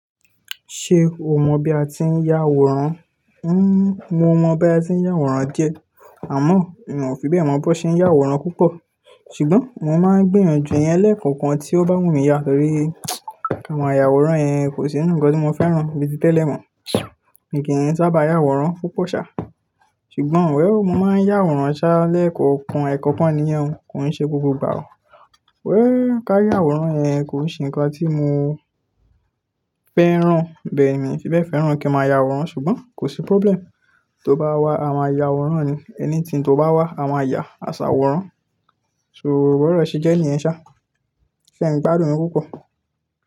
Ṣé o mọ bí a ti ń yá àwòrán? N mò mọ̀ bí a ti ń yá àwòrán diẹ́ àmọ́ mio fi bẹ́ẹ̀ mọ̀ bó ṣe ń yá àwòrán púpọ̀. Ṣùgbọ́n mo máa ń gbiyanju ìyẹn lẹ́ẹ̀kan kan tí ó bá wù mí yá torí àwọn àyàwòrán yẹn kò sí nǹkan tí mo fẹ́ ràn bíi ti tẹ́lẹ̀ mọ́. Èmi kì í sábà yá àwòrán púpọ̀ sá, ṣùgbọ́n wèll, mo máa ń yá àwòrán sá lẹ́ẹ̀kan kan, ẹ̀ẹ̀kan kan nìyẹn, kò ń ṣe gbogbo ìgbà o. Wè, ká yá àwòrán yẹn kò sì ńkan tí mo fẹ́ ràn. Bẹ́ẹ̀ ni, mi fi bẹ́ẹ̀ fẹ́ràn kí n máa yá àwòrán ṣùgbọ́n kò sí problem. Tí o bá wá, a máa yá àwòrán ni, anything n tó bá wá, a máa yá aṣàwó rán. Bi ọro ṣe jẹ́ nìyen ṣá, ṣé ẹ ń gbádùn mi púpọ̀?